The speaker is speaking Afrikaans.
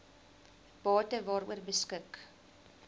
bate waaroor beskik